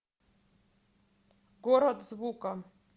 город звука